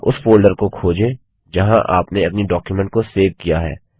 यहाँ उस फोल्डर को खोजें जहाँ आपने अपनी डॉक्युमेंट को सेव किया है